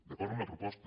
d’acord amb la proposta